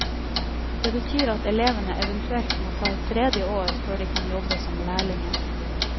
Det betyr at elevene eventuelt må ta et tredje år før de kan jobbe som lærlinger.